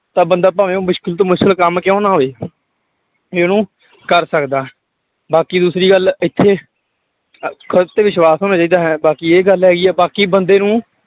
ਤਾਂ ਬੰਦਾ ਭਾਵੇਂ ਉਹ ਮੁਸ਼ਕਲ ਤੋਂ ਮੁਸ਼ਕਲ ਕੰਮ ਕਿਉਂ ਨਾ ਹੋਵੇ ਇਹਨੂੰ ਕਰ ਸਕਦਾ, ਬਾਕੀ ਦੂਸਰੀ ਗੱਲ ਇੱਥੇ ਖੁੱਦ ਤੇ ਵਿਸ਼ਵਾਸ਼ ਹੋਣਾ ਚਾਹੀਦਾ ਹੈ, ਬਾਕੀ ਇਹ ਗੱਲ ਆਈ ਆ, ਬਾਕੀ ਬੰਦੇ ਨੂੰ